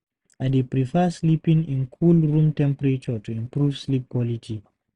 I dey prefer sleeping in cool room temperature to improve sleep quality.